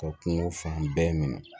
Ka kungo fan bɛɛ minɛ